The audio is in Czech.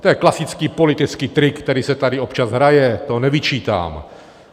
To je klasický politický trik, který se tady občas hraje, to nevyčítám.